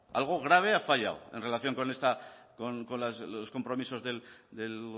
algo grave ha fallado en relación con los compromisos del